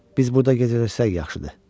Biz burda gecələrsək yaxşıdır.